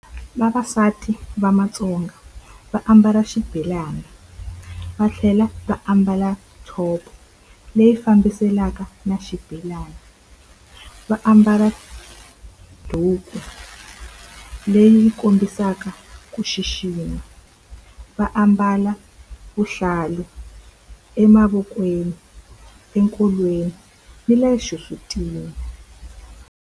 Vavasati va Matsonga va ambala xibelani, va tlhela va ambala top-o leyi fambiselanaka na xibelani. Va ambala duku leyi kombisaka ku xixima, va ambala vuhlalu emavokweni, enkolweni ni le xisutini.